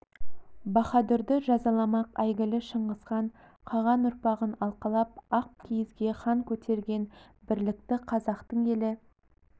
баһадүрді жазаламақ әйгілі шыңғыс хан қаған ұрпағын алқалап ақ киізге хан көтерген бірлікті қазақтың елі